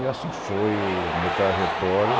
E assim foi o meu trajetório.